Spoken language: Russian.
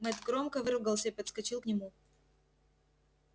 мэтт громко выругался и подскочил к нему